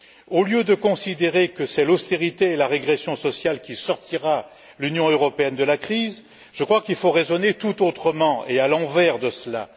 Au lieu de considérer que c'est l'austérité et la régression sociale qui sortiront l'Union européenne de la crise, je crois qu'il faut raisonner tout autrement et à l'inverse de cela.